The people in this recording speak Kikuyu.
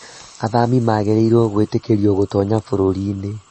Athami magĩrĩirwo gwĩtĩkĩrio gũtoonya bũrũri-inĩ.